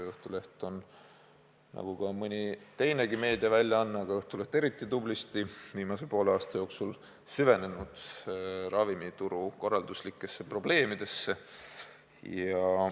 Õhtuleht on – nagu ka mõni teine meediaväljaanne, aga Õhtuleht eriti tublisti – viimase poole aasta jooksul süvenenud ravimituru korralduslikesse probleemidesse.